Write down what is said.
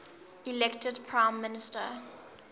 elected prime minister